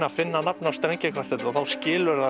að finna nafn á strengjakvartett og þá skilur það